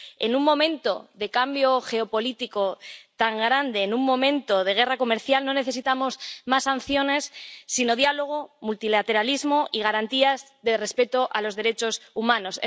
En un momento de cambio geopolítico tan grande, en un momento de guerra comercial, no necesitamos más sanciones, sino diálogo, multilateralismo y garantías de respeto de los derechos humanos.